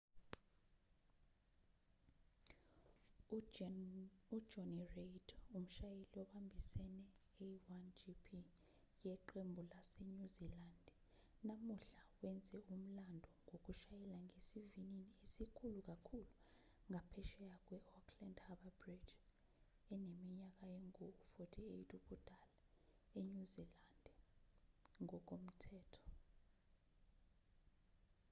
ujonny reid umshayeli obambisene a1gp yeqembu lasenyuzilandi namuhla wenze umlando ngokushayela ngesivinini esikhulu kakhulu ngaphesheya kwe-auckland harbour bridge eneminyaka engu-48 ubudala enyuzilandi ngokomthetho